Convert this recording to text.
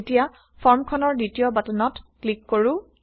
এতিয়া ফৰ্মখনৰ দ্বিতীয় বাটনত ক্লিক কৰো